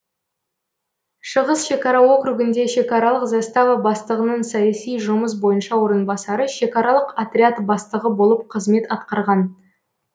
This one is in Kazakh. шығыс шекара округінде шекаралық застава бастығының саяси жұмыс бойынша орынбасары шекаралық отряд бастығы болып қызмет атқарған